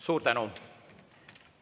Suur tänu!